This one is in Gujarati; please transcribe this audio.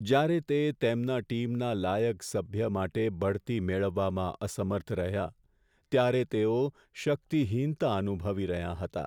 જ્યારે તે તેમના ટીમના લાયક સભ્ય માટે બઢતી મેળવવામાં અસમર્થ રહ્યાં, ત્યારે તેઓ શક્તિહીનતા અનુભવી રહ્યા હતા.